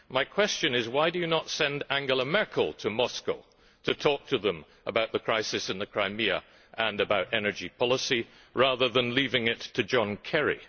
My question is why do you not send Angela Merkel to Moscow to talk to them about the crisis in the Crimea and about energy policy, rather than leaving it to John Kerry?